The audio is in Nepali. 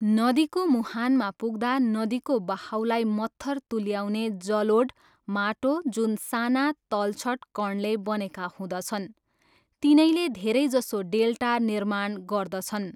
नदीको मुहानमा पुग्दा नदीको बहाउलाई मत्थर तुल्याउने जलोढ माटो, जुन साना तलछट कणले बनेका हुँदछन्, तिनैले धेरैजसो डेल्टा निर्माण गर्दछन्।